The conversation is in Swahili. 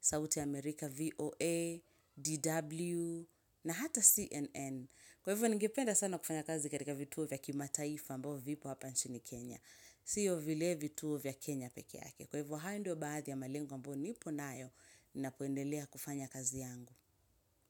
sauti ya America VOA, DW na hata CNN. Kwa hivyo, ningependa sana kufanya kazi katika vituo vya kimataifa ambavo vipo hapa nchini Kenya. Sio vile vitu vya Kenya peke yake. Kwa hivo haya ndio baadhi ya malengo ambayonipo nayo napoendelea kufanya kazi yangu.